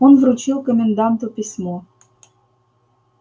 он вручил коменданту письмо